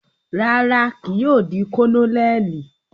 Rara, kii yóò di Kononeli